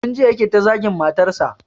Tun jiya yake ta zagin matarsa